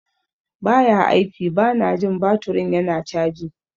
Ba ya aiki - Bana jin baturin yana caji.